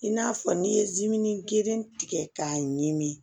I n'a fɔ n'i ye zimini geren tigɛ k'a ɲimi